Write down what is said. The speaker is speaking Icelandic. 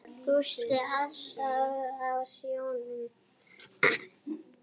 Gústi alltaf á sjónum.